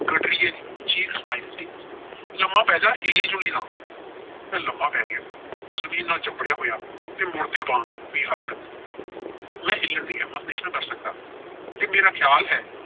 ਗਡਰੀਏ ਦੀ ਚੀਖ ਸੁਣਾਈ ਦਿੱਤੀ। ਲੰਮਾ ਪੈਜਾ ਹਿੱਲੀ-ਜੁੱਲੀ ਨਾ। ਮੈਂ ਲੰਮਾ ਪੈ ਗਿਆ। ਜ਼ਮੀਨ ਨਾਲ ਚਿੰਬੜਿਆ ਹੋਇਆ ਤੇ ਮੁਰਦੇ ਵਾਂਗ ਬੇਹਰਕਤ। ਮੈਂ ਹਿੱਲਣ ਦੀ ਹਿੰਮਤ ਨਹੀਂ ਸਾ ਕਰ ਸਕਦਾ। ਤੇ ਮੇਰਾ ਖਿਆਲ ਹੈ